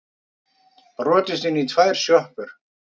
Brotist inn í tvær sjoppur